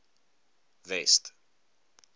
west